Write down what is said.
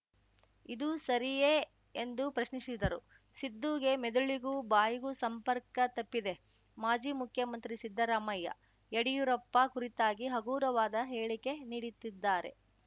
ಇದು ಸರಿಯೇ ಎಂದು ಪ್ರಶ್ನಿಸಿದರು ಸಿದ್ದುಗೆ ಮೆದುಳಿಗೂ ಬಾಯಿಗೂ ಸಂಪರ್ಕ ತಪ್ಪಿದೆ ಮಾಜಿ ಮುಖ್ಯಮಂತ್ರಿ ಸಿದ್ದರಾಮಯ್ಯ ಯಡಿಯೂರಪ್ಪ ಕುರಿತಾಗಿ ಹಗುರವಾದ ಹೇಳಿಕೆ ನೀಡಿತ್ತಿದ್ದಾರೆ